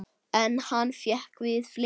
En hann fékkst við fleira.